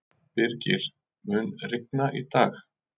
Birgir, mun rigna í dag?